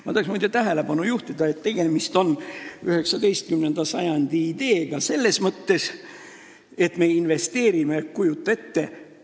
Ma tahaks, muide, tähelepanu juhtida, et tegemist on 19. sajandi ideega selles mõttes, et me investeerime – kujuta ette!